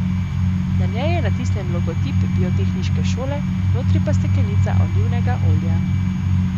Na njej je natisnjen logotip biotehniške šole, notri pa steklenica olivnega olja.